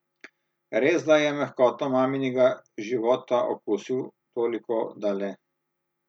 Resda je mehkoto maminega života okusil toliko da le.